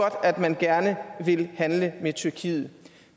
at man gerne vil handle med tyrkiet